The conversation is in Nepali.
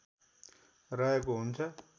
रहेको हुन्छ